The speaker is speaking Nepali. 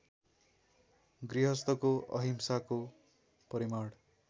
गृहस्थको अंहिसाको परिमाण